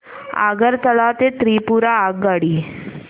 आगरतळा ते त्रिपुरा आगगाडी